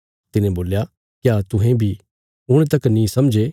तिने बोल्या क्या तुहें बी हुण तक नीं समझे